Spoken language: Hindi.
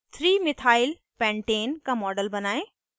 3methylpentane का model बनायें